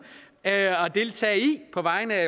at deltage i på vegne af